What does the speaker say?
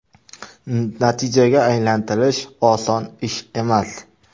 Natijaga aylantirish oson ish emas.